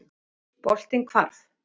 Boltinn hvarf.